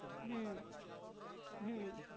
હમમમ હમમમ